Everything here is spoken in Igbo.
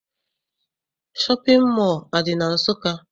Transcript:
Shọpịn mọọ adị na Nsụka?